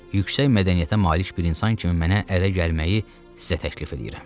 Yüksək mədəniyyətə malik bir insan kimi mənə ərə gəlməyi sizə təklif eləyirəm.